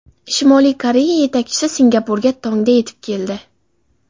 Shimoliy Koreya yetakchisi Singapurga tongda yetib keldi.